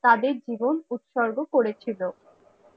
তাদের জীবন উৎসর্গ করে ছিল